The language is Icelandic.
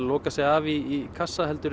loka sig af í kassa heldur